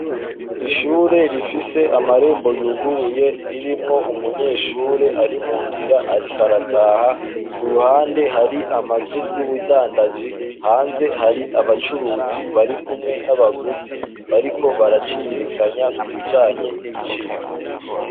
Ishure rifise amarembo yuguruye, ririmwo umunyeshure ari mu nzira ariko arataha, k'uruhande hari amazu y'ubudandaji, hanze hari abacuruzi bari kumwe n'abaguzi bariko baraciririkanya kubijanye n'ibiciro.